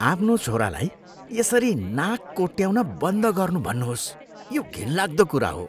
आफ्नो छोरालाई यसरी नाक कोट्याउन बन्द गर्नू भन्नुहोस्। यो घिनलाग्दो कुरा हो।